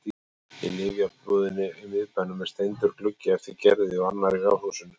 Í lyfjabúðinni í miðbænum er steindur gluggi eftir Gerði og annar í ráðhúsinu.